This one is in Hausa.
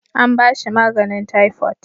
An ba shi maganin taifot